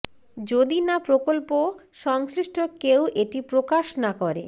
যদি না প্রকল্প সংশ্লিষ্ট কেউ এটি প্রকাশ না করে